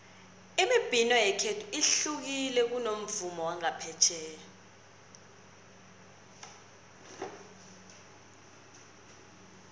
imibhino yekhethu ihlukile kunomvumo wangaphetjheya